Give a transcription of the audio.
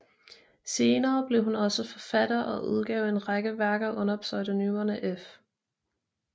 Senere blev hun også forfatter og udgav en række værker under pseudonymerne F